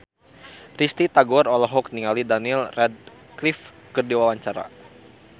Risty Tagor olohok ningali Daniel Radcliffe keur diwawancara